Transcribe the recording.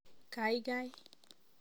kaigai